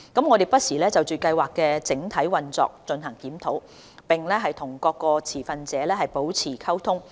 我們不時就計劃的整體運作進行檢討，並與各相關持份者保持溝通。